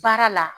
Baara la